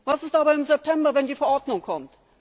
Was ist aber im September, wenn die Verordnung kommt?